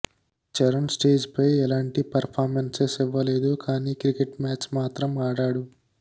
చరణ్ స్టేజ్పై ఎలాంటి పర్ఫార్మెన్సెస్ ఇవ్వలేదు కానీ క్రికెట్ మ్యాచ్ మాత్రం ఆడాడు